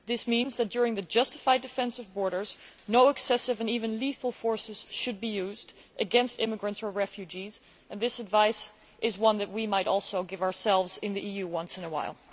This means that, during the justified defence of borders, no excessive or even lethal force should be used against immigrants or refugees, and this advice is something that we might also give ourselves in the EU once in a while.